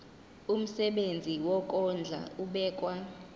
umsebenzi wokondla ubekwa